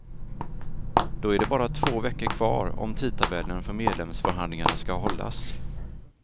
Då är det bara två veckor kvar, om tidtabellen för medlemsförhandlingarna skall hållas.